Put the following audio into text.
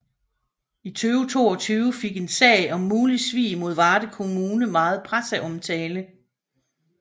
I 2022 fik en sag om mulig svig mod Varde kommune meget presseomtale